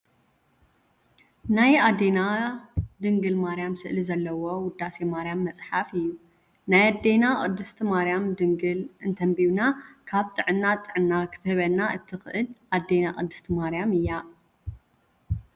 ናይ አዴና ድንግል ማርያም ስእሊ ዘለዎ ውዳሴ ማርያም መፅሓፍ እዩ። ናይ አዴና ቅድስቲ ማርያም ድንግል እንተንቢብና ካብ ጥዕና ጥዕና ክትህበና እትክእል ኣዴና ቅድስቲ ማርያም እያ።